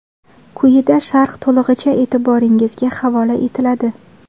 Quyida sharh to‘lig‘icha e’tiboringizga havola etiladi.